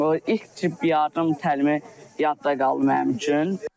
İlk yardım təlimi yadda qaldı mənim üçün.